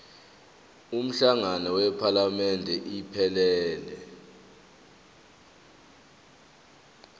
umhlangano wephalamende iphelele